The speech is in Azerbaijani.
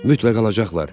Mütləq alacaqlar.